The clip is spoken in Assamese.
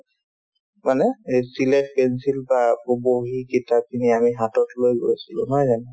মানে এই চিলেত পেঞ্চিল বা উব বহী কিতাপখিনি আমি হাতত লৈ গৈছিলো নহয় জানো